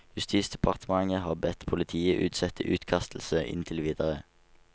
Justisdepartementet har bedt politiet utsette utkastelse inntil videre.